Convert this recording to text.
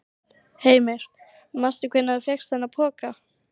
Heimir: Manstu hvenær þú fékkst þennan poka?